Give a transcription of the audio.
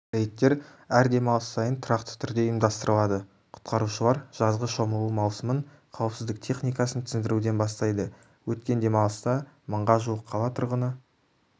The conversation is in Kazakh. рейдтер әр демалыс сайын тұрақты түрде ұйымдастырылады құтқарушылар жазғы шомылу маусымын қауіпсіздік техникасын түсіндіруден бастайды өткен демалыста мыңға жуық қала тұрғыны